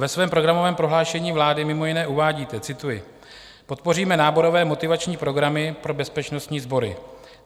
Ve svém programovém prohlášení vlády mimo jiné uvádíte - cituji: "Podpoříme náborové motivační programy pro bezpečnostní sbory.